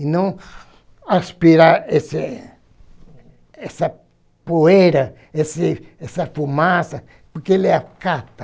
E não aspirar esse essa poeira, esse essa fumaça, porque ele acata.